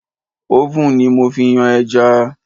Oven ni mo fi yan ẹja